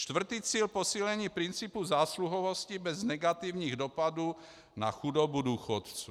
Čtvrtý cíl, posílení principu zásluhovosti bez negativních dopadů na chudobu důchodců.